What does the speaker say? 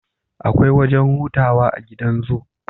Akwai wajan hutawa a gidan zoo